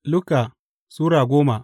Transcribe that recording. Luka Sura goma